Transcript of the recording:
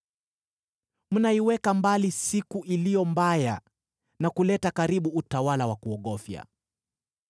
Mnaiweka mbali siku iliyo mbaya na kuleta karibu utawala wa kuogofya.